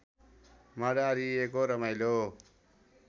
मडारिएको रमाइलो